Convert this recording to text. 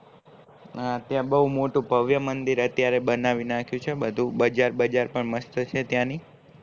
હા ત્યાં બૌ મોટું ભવ્ય મંદિર અત્યારે બનાવી નાખ્યું છે બધું બજાર બજાર પણ મસ્ત છે ત્યાં ની